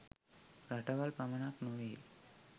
රටවල් පමණක් නොවේ.